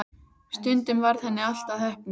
Stundum varð henni allt að heppni.